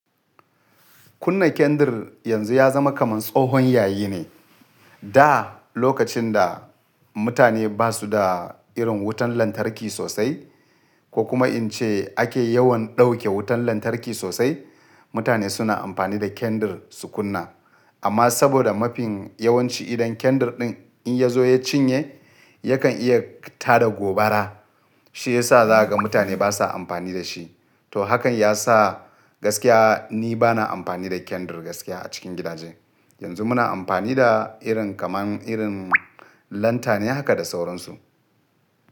Kunna kendir yanzu ya zama kamar tsohon yayi ne. Da lokacin da mutane ba su da irin wutan lantarki sosai ko kuma in ce ake yawan dauke wutan lantarki sosai, mutane suna amfani da kendir su kunna. Amma saboda mafin yawanci idan kendir ɗin in ya zo ya cinye yakan iya tada gobara, shi ya sa za ga mutane basa amfani da shi. To hakan ya sa gaskiya ni bana amfani da kendr gaskiya a cikin gidaje. Yanzu muna amfani da irin kamar irin lantane haka da sauransu.